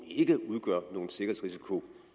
ikke